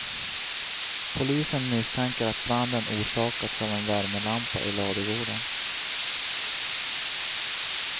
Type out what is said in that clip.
Polisen misstänker att branden orsakats av en värmelampa i ladugården.